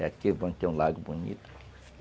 É aqui, um lago bonito.